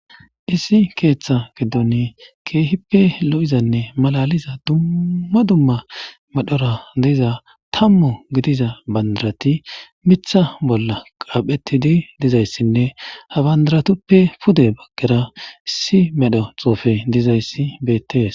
issi keeththa geddoni keehippe lo7izanne malaliza dumma dumma madhora deiza tammu gidiza bandirati mitha bolla qaaphettidi dizayssinne habandaratuppe pude baggera issi medho xoofe dizayssi beettees